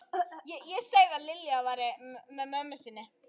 Er bankinn ekki með app?